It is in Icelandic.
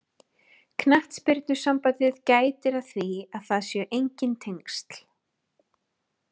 Knattspyrnusambandið gætir að því að það séu enginn tengsl.